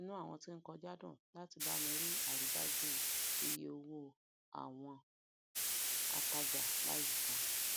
inú àwọn tí o n kọjá dùn láti bami rí aridájú iye owó àwon um ataja layika